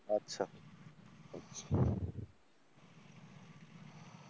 আচ্ছা,